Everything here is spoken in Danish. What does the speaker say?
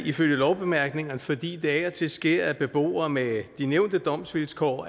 ifølge lovbemærkningerne fordi det af og til sker at beboere med de nævnte domsvilkår